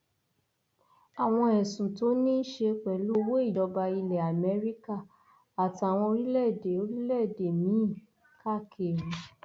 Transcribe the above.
àwọn ẹsùn tó ní í ṣe pẹlú owó ìjọba ilẹ amẹríkà àtàwọn orílẹèdè orílẹèdè míín káàkiri